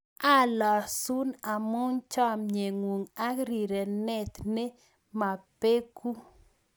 Alosun amu chamnyeng'ung' ak rirenten ne babeku